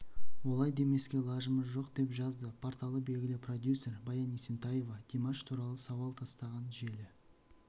олай демеске лажымыз жоқ деп жазады порталы белгілі продюсер баян есентаева димаш туралы сауал тастаған желі